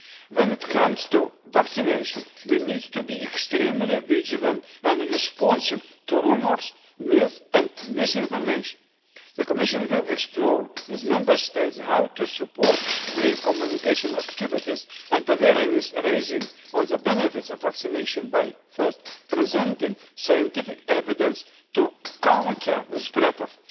challenge. When it comes to vaccination, we need to be extremely vigilant and responsive to rumours, myth and misinformation. The Commission will explore, with Member States, how to support their communication activities and awareness-raising on the benefits of vaccination by, first, presenting scientific evidence to counter